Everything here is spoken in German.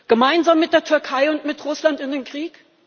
Gemeinsam mit der Türkei und mit Russland in den Krieg?